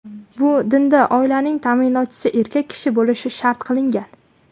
Bu dinda oilaning ta’minotchisi erkak kishi bo‘lishi shart qilingan.